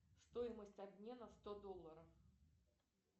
стоимость обмена сто долларов